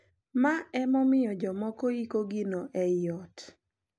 Ma ema omiyo jomoko iko gino e I ot.